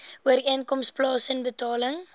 ooreenkoms plaasen betaling